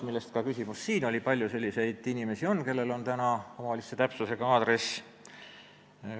Ka siin oli küsimus selle kohta, kui palju on selliseid inimesi, kellel on omavalitsuse täpsusega aadress.